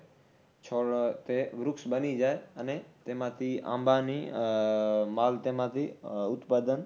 . છોડ તે વૃક્ષ બની જાય અને તેમાથી આંબાની માલ તેમાથી ઉત્પાદન